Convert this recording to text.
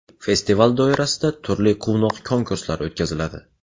Festival doirasida turli quvnoq konkurslar o‘tkaziladi.